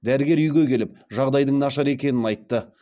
дәрігер үйге келіп жағдайдың нашар екенін айтты